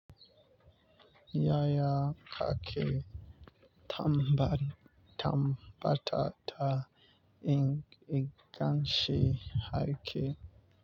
Yaya ka ke tambaɗi tambata ta in igansheharke.